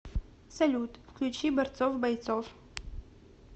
салют включи борцов бойцов